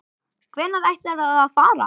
Hvenær ætlarðu að fara?